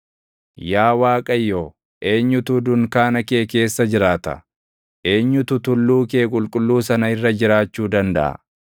Yaa Waaqayyo, eenyutu dunkaana kee keessa jiraata? Eenyutu tulluu kee qulqulluu sana irra jiraachuu dandaʼa?